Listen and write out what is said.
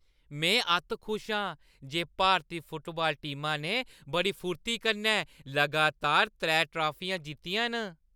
में अत्त खुश आं जे भारती फुटबाल टीमा ने बड़ी फुर्ती कन्नै लगातार त्रै टाफियां जित्तियां न ।